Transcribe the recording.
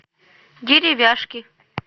деревяшки